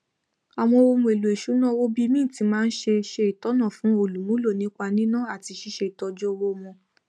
àwọn ohunèlò ìṣúná owó bíi mint máa ń ṣe ṣe ìtọnà fún olùmúlò nípa níná àti ṣíṣé ìtọjú owó wọn